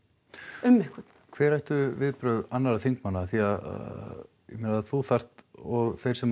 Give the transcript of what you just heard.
um einhvern hver ættu viðbrögð annara þingmanna af því að ég meina þú þarft og þeir sem